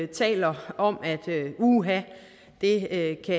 taler om at uha det